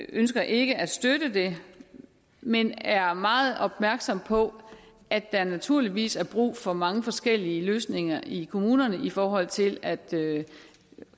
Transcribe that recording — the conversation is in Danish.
ønsker ikke at støtte det men er meget opmærksom på at der naturligvis er brug for mange forskellige løsninger i kommunerne i forhold til at